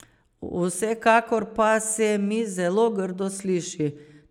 Vsekakor pa se mi zelo grdo sliši.